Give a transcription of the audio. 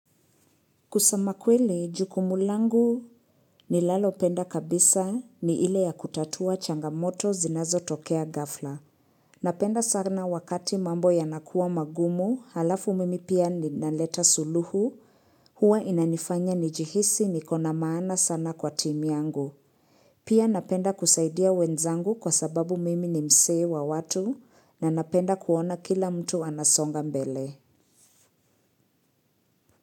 Kusema kweli, jukumu langu nilalopenda kabisa ni ile ya kutatua changamoto zinazotokea ghafla. Napenda sana wakati mambo yanakuwa magumu, halafu mimi pia ninaleta suluhu, huwa inanifanya nijihisi nikona maana sana kwa timu yangu. Pia napenda kusaidia wenzangu kwa sababu mimi ni msee wa watu na napenda kuona kila mtu anasonga mbele.